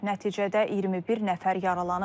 Nəticədə 21 nəfər yaralanıb.